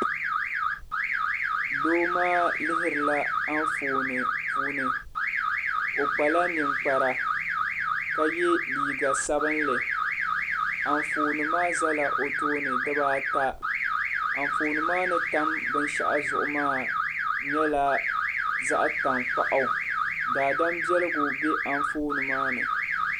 Doo maa lihirila Anfooni puuni o kpala ninkpara ka ye liiga sabinli Anfooni maa zala o tooni dibaata Anfooni maa ni tam binshɛɣu zuɣu maa nyɛla zaɣ'tankpaɣu daadam biɛligu be anfooni maa ni.